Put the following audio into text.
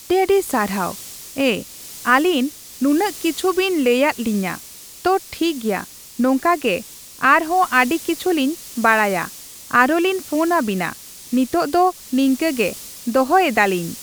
ᱟᱹᱰᱤᱼᱟᱹᱰᱤ ᱥᱟᱨᱦᱟᱣ ᱮᱸ, ᱟᱞᱤᱧ ᱱᱩᱱᱟᱹᱜ ᱠᱤᱪᱷᱩ ᱵᱤᱱ ᱞᱟᱹᱭᱟᱫ ᱞᱤᱧᱟᱹ᱾ ᱛᱚ ᱴᱷᱤᱠᱜᱮᱭᱟ, ᱱᱚᱝᱠᱟ ᱜᱮ ᱟᱨᱦᱚ ᱟᱹᱰᱤ ᱠᱤᱪᱷᱩᱞᱤᱧ ᱵᱟᱲᱟᱭᱟ ᱟᱨᱚᱞᱤᱧ ᱯᱷᱳᱱᱟᱵᱤᱱᱟ, ᱱᱤᱛᱳᱜ ᱫᱚ ᱱᱤᱝᱠᱟᱹᱜᱮ ᱫᱚᱦᱚᱭᱮᱫᱼᱟ ᱞᱤᱧ᱾